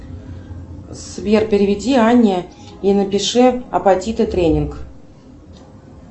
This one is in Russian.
сбер переведи анне и напиши апатиты тренинг